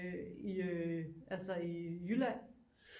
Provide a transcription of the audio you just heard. I øh altså i jylland